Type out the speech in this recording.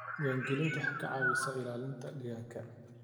Diiwaangelintu waxay ka caawisaa ilaalinta deegaanka.